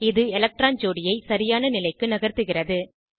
இது எலக்ட்ரான் ஜோடியை சரியான நிலைக்கு நகர்த்துகிறது